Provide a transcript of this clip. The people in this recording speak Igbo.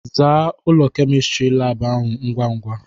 "Zaa ụlọ Kemịstri laabụ ahụ ngwa ngwa!"